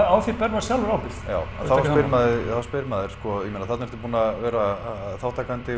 á því ber maður sjálfur ábyrgð já en þá spyr maður sko þarna ertu búinn að vera þátttakandi